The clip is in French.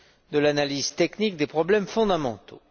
de l'analyse technique des problèmes fondamentaux.